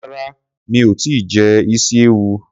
Rárá mi ò tíì jẹ isi ewu.